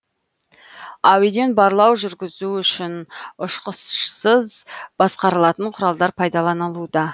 әуеден барлау жүргізу үшін ұшқышсыз басқарылатын құралдар пайдалынылуда